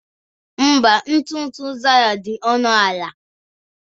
Mba, ntụ ntụ Zara dị ọnụ ala